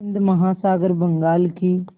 हिंद महासागर बंगाल की